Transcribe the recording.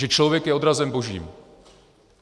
Že člověk je odrazem Božím.